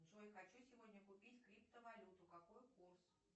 джой хочу сегодня купить криптовалюту какой курс